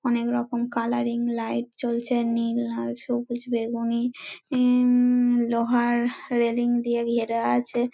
অনেক রকম colouring light জ্বলছে নীল লাল সবুজ বেগুনি-ই উম লোহার রেলিং দিয়ে ঘেরা আছে।